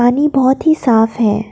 नी बहोत ही साफ है।